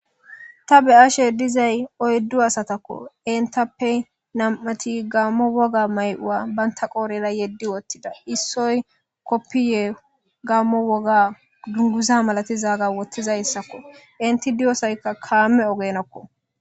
Ta beashe diizay oyddu asatakko enttappe nam'atii gamo wogga mayo'a bantta qodhdhera yeedi woththida issoy koppiya gammo wogga dungguza malatizagga wottidayssako eenti diyyossayka kaame oggenakko.